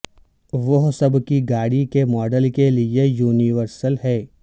وہ سب کی گاڑی کے ماڈل کے لئے یونیورسل ہے